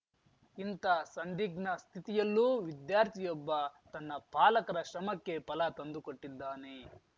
ಇಂಥ ಸಂಧಿಗ್ನ ಸ್ಥಿತಿಯಲ್ಲೂ ವಿದ್ಯಾರ್ಥಿಯೊಬ್ಬ ತನ್ನ ಪಾಲಕರ ಶ್ರಮಕ್ಕೆ ಫಲ ತಂದುಕೊಟ್ಟಿದ್ದಾನೆ